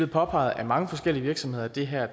påpeget af mange forskellige virksomheder at det her